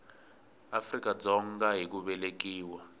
afrika dzonga hi ku velekiwa